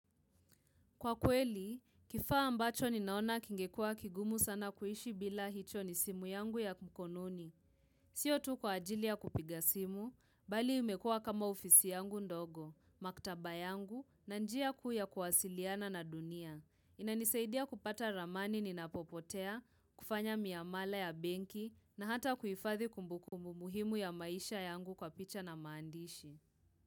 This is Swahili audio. Kwa kweli, kifaa ambacho ninaona kingekua kigumu sana kuishi bila hicho ni simu yangu ya mkononi. Kwa kweli, kifaa ambacho ninaona kingekua kigumu sana kuishi bila hicho ni simu yangu ya mkonononi. Inanisaidia kupata ramani ni napopotea, kufanya miamala ya benki, na hata kuifadhi kumbukumbu muhimu ya maisha yangu kwa picha na maandishi.